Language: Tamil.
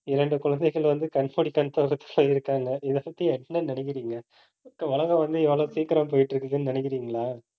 இரண்டு குழந்தைகள் வந்து கண் மூடி கண் திறக்கறதுக்குள்ள இருக்காங்க. இதைப்பத்தி, என்ன நினைக்கிறீங்க உலகம் வந்து எவ்வளவு சீக்கிரம் போயிட்டு இருக்குதுன்னு நினைக்கிறீங்களா